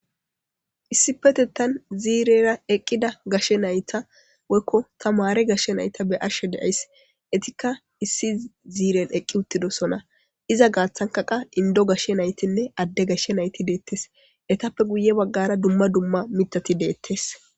issi petettan ziirera eqqida gashe nayta woykko tamare gashshe nayta be'ashshe deays etikka issi ziiren eqqi uttidosona iza gaaththanka qa indo gashshe naytinne adde gashshe nayti deettes etappe guye baggara dumma dumma mitati deettes